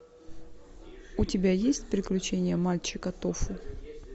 у тебя есть приключения мальчика тофу